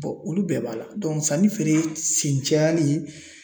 olu bɛɛ b'a la sanni feere sen cayalen